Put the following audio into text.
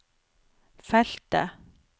feltet